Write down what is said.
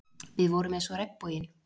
Við vorum eins og regnboginn.